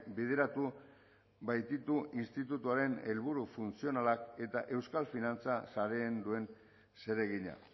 bideratu baititu institutuaren helburu funtzionalak eta euskal finantza sareen duen zeregina